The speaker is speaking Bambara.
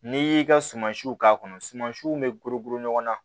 N'i y'i ka sumansiw k'a kɔnɔ suma siw bɛ ɲɔgɔn na